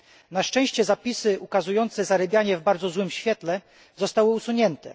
Na szczęście, zapisy ukazujące zarybianie w bardzo złym świetle zostały usunięte.